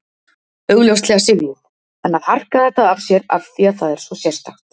Augljóslega syfjuð en að harka þetta af sér af því að það er svo sérstakt.